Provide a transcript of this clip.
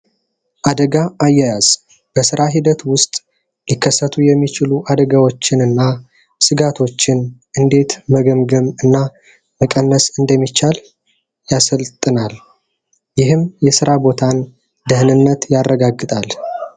አደጋ አያያዝ በስራ ሂደት ውስጥ መከሰቱ የሚችሉ አደጋዎችን እና ስጋቶችን እንዴት መገምገም እና መቀነስ እንደሚቻል ያሰለጥናል። ይህም የስራ ቦታን ደህንነት ያረጋግጣል።